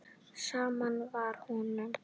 Sama var honum.